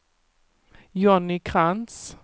Johnny Krantz